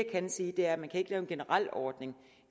kan sige er at man ikke kan lave en generel ordning